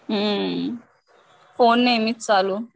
हम्म फोन नेहमीच चालू.